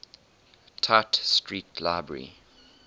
tite street library